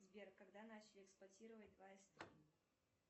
сбер когда начали эксплуатировать два ст